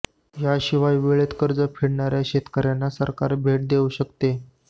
याशिवाय वेळेत कर्ज फेडणाऱ्या शेतकऱ्यांना सरकार भेट देऊ शकते